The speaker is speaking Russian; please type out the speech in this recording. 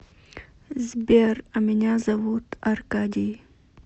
сбер а меня зовут аркадий